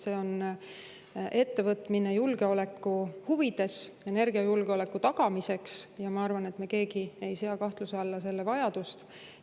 See on ettevõtmine julgeoleku huvides, energiajulgeoleku tagamiseks ja ma arvan, et me keegi ei sea kahtluse alla selle vajadust.